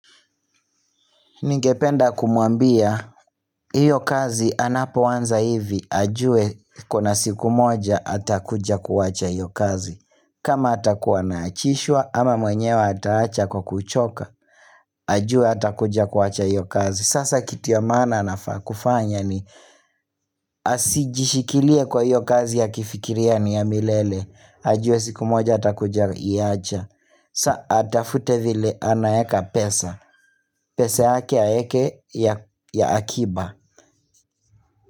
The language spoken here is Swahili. Ningependa kumuambia, hiyo kazi anapoanza hivi, ajue kuna siku moja atakuja kuwacha hiyo kazi. Kama atakuwa anaachishwa, ama mwenye wa ataacha kwa kuchoka, ajue atakuja kuwacha hiyo kazi. Sasa kitu ya maana anafaa kufanya ni, asijishikilie kwa hiyo kazi ya kifikiriani ya milele, ajue siku moja atakuja iacha. Sa atafute vile anaeka pesa pesa aweke ya akiba.